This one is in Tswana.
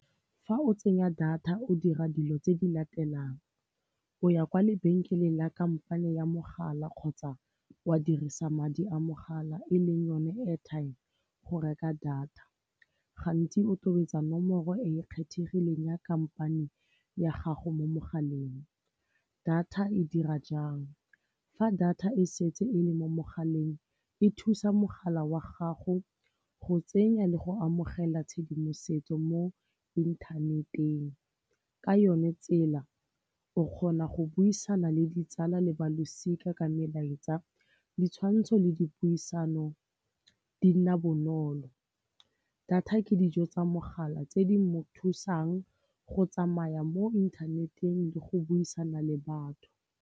Fa o tsenya data o dira dilo tse di latelang, o ya kwa lebenkeleng la kampane ya mogala kgotsa wa dirisa madi a mogala e leng yone airtime go reka data. Gantsi o tobetsa nomoro e e kgethegileng ya kampane ya gago mo mogaleng. Data e dira jang, fa data e setse e le mo mogaleng e thusa mogala wa gago go tsenya le go amogela tshedimosetso mo inthaneteng. Ka yone tsela o kgona go buisana le ditsala le balosika ka melaetsa, ditshwantsho le dipuisano di nna bonolo. Data ke dijo tsa mogala tse di mo thusang go tsamaya mo inthaneteng le go buisana le batho.